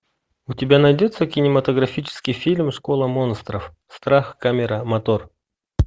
у тебя найдется кинематографический фильм школа монстров страх камера мотор